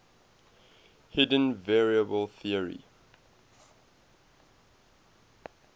hidden variable theory